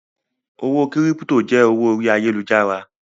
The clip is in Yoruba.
Owó kírípítò jẹ́ owó orí ayálujára.